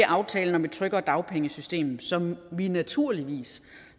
aftalen om et tryggere dagpengesystem som vi naturligvis